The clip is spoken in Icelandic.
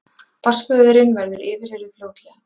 Barnsföðurinn verður yfirheyrður fljótlega